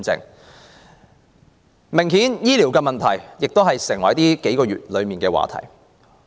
很明顯，醫療問題已成為近數月的熱門話題。